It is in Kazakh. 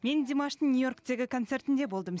мен димаштың нью йорктегі концертінде болдым